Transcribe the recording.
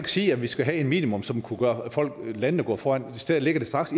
sige at vi skal have et minimum som kunne få landene gå foran i stedet ligger det